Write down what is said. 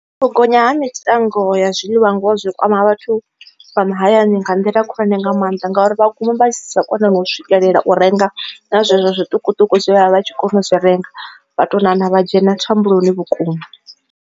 U gonya ha mitengo ya zwiḽiwa ngoho zwi kwama ha vhathu vha mahayani nga nḓila khulwane nga maanḓa ngauri vha guma vha sa koni u swikelela u renga na zwezwo zwiṱukuṱuku zwe vha vha vha tshi kona u zwi renga vha to namba vha dzhena thambuloni vhukuma.